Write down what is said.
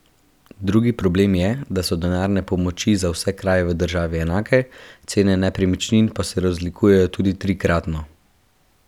Drugi problem je, da so denarne pomoči za vse kraje v državi enake, cene nepremičnin pa se razlikujejo tudi trikratno.